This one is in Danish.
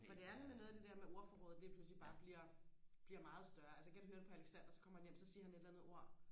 for det er nemlig noget af det der med ordforrådet lige pludselig bare bliver bliver meget større altså jeg kan høre det på Alexander så kommer han hjem så siger han et eller andet ord